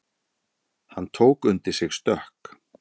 Hann tók undir sig stökk.